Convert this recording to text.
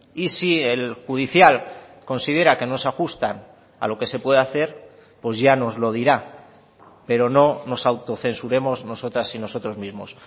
y si el judicial considera que no se ajustan a lo que se puede hacer pues ya nos lo dirá pero no nos autocensuremos nosotras y nosotros mismos